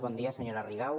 bon dia senyora rigau